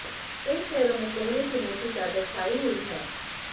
कई शहरों में कोहरे की मोटी चादर छाई हुई है